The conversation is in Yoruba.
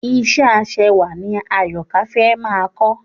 Ìṣe ẹ aṣẹwà ni Àyọ̀kâ fẹ́ máa kọ́